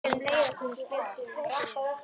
Við skulum leiðast þennan spöl sem eftir er.